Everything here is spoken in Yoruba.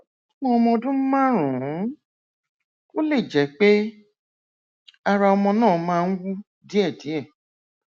fún ọmọ ọdún márùnún ó lè jẹ pé ara ọmọ náà máa ń wú díẹdíẹ